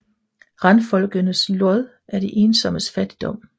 Randfolkenes Lod er de ensommes Fattigdom